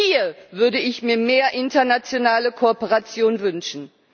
Hier würde ich mir mehr internationale Kooperation wünschen.